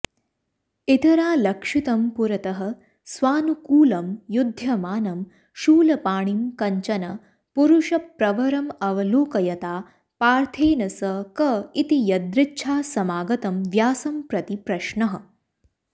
इतरालक्षितं पुरतः स्वानुकूलं युध्यमानं शूलपाणिं कञ्चन पुरुषप्रवरमवलोकयता पार्थेन स क इति यदृच्छासमागतं व्यासं प्रति प्रश्नः